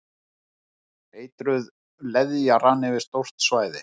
Eitruð leðja rann yfir stórt svæði